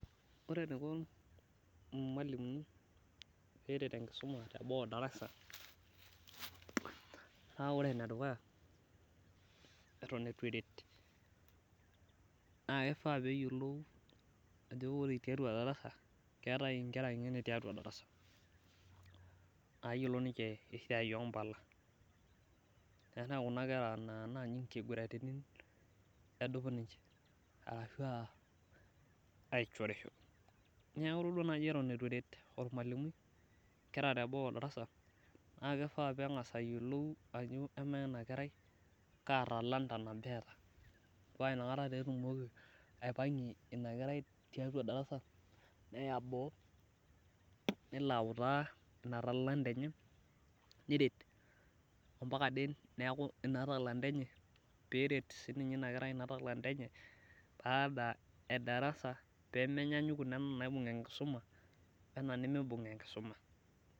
ore eniko ilmalimuni pee eret enkisum teboo darasa naa iyiolo eton etu eret naa kifaa pee eyiolou ajo keetae inkera ngeni tedarasa nayiolo niche esiai oo impala, tenaa ore kuna kera naa inkiguraritin edup niche arashu aa achorisho neeku itodua naaji eton etu eret olmalimui inker teboo darasa neeku kifaa neyiolou ajo amaa ena kerai kaa talanta nabo eta paa inakata taa etumoki aipangie inakerai tiatua darasa, neya boo nelo autaa ina talanta enye neret ampaka ade neeku ina talanta enye, neret sii ninye inakerai inatalanta enye pee menyanyu weina naibung enkisuma.